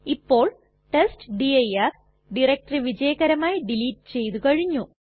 ഇപ്പോൾ test dir directory വിജയകരമായി delete ചെയ്തു കഴിഞ്ഞു